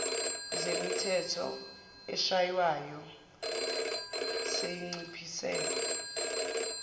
zemithetho eshaywayo seyinciphise